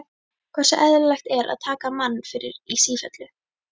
Hversu eðlilegt er það að taka mann fyrir í sífellu?